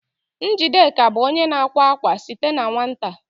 Njideka bụ onye na-akwa akwa site na nwata